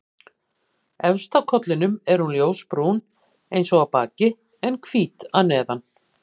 Efst á kollinum er hún ljósbrún eins og á baki en hvít að neðan.